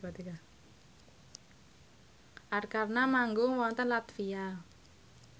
Arkarna manggung wonten latvia